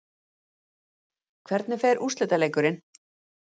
Hvernig fer úrslitaleikurinn?